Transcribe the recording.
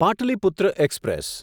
Pataliputra express